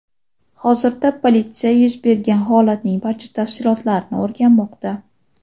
Hozirda polisya yuz bergan holatning barcha tafsilotlarini o‘rganmoqda.